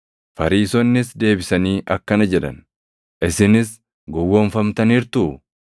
Fariisonnis deebisanii akkana jedhan, “Isinis gowwoomfamtaniirtuu?